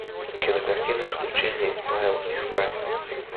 кинокартина исключение из правил искать